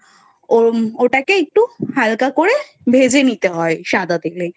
ওর ওটাকে একটু হালকা করে ভেজে নিতে হয় সাদা তেলে